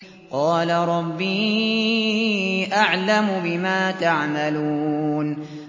قَالَ رَبِّي أَعْلَمُ بِمَا تَعْمَلُونَ